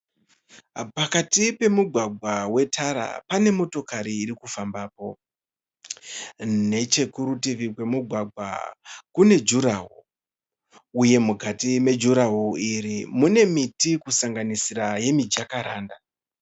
Pakati pemugwagwa wetara pane motokari iri kufambapo. Nechekurutivi kwemugwagwa kune juraho uye mukati mejuraho iri mune miti kusanganisira yemijakaranda.